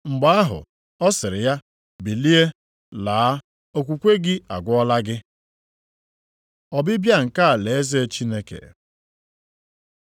Mgbe ahụ, ọ sịrị ya, “Bilie, laa, okwukwe gị agwọọla gị.” Ọbịbịa nke alaeze Chineke